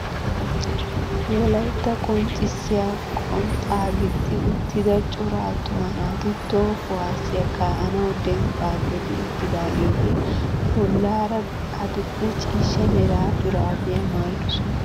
Wolaytta qonccisiyaa qonxxaa gixxi uttida cora attuma naati toho kuwaasiyaa ka"anawu denbbaa geli uttidaageti bollaara adil'e ciishsha mera shuraabiyaa maayidosona!